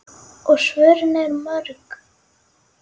Og svörin eru mörg.